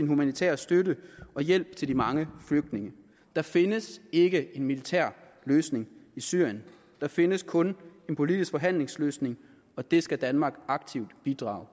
humanitære støtte og hjælp til de mange flygtninge der findes ikke en militær løsning i syrien der findes kun en politisk forhandlingsløsning og den skal danmark aktivt bidrag